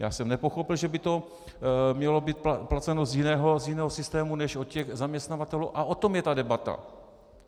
Já jsem nepochopil, že by to mělo být placeno z jiného systému než od těch zaměstnavatelů, a o tom je ta debata.